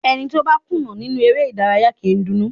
Ẹni tó bá kùnà nínú eré ìdárayá kì í dunnú.